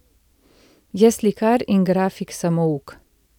Je slikar in grafik samouk.